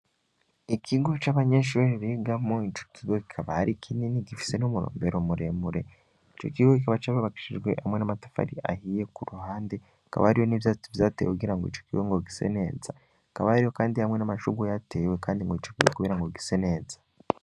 Ikigo c'abanyeshuri bigamo, ico kige kikabari kinini gifise n'umurombero muremure ico kiwe kikaba c'ababakishijwe hamwe n'amatafari ahiye ku ruhande kabariyo n'ivyatu vyatewe kugira ngo ico kiwe ngo gise neza kabario, kandi hamwe n'amashugu yatewe, kandi ngo ico kiwe kubira ngo gise neza.